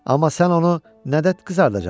Amma sən onu nədə qızardacaqsan?